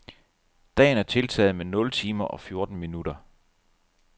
Dagen er tiltaget med nul timer og fjorten minutter.